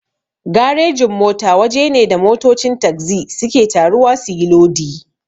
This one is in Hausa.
Garejin-mota waje ne da motocin tagzi suke taruwa suyi lodi.